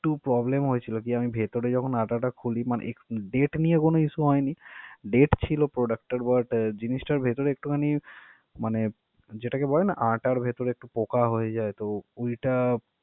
~Two product হয়েছিল। আমি ভেতরে যখন আটাটা খুলি মানে, একটু date দিয়ে কোনো issue হয়নি। date ছিল product টার but জিনিসটার ভিতরে একটুখানি মানে যেটাকে বেলনা আটার ভিতরে পোকা হয়ে যায় তো এটা